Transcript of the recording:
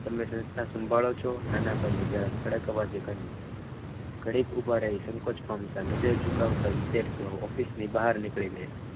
તમે સંસ્થા સંભાળો છો નાના ભાઈએ જરા કડક અવાજમાં કહ્યું ઘડીક ઉભા રહો સંકોચ પામતા નગર નજર ચૂકવતા વિદ્યાર્થીઓ ઓફિસની બહાર નીકળી ગયા.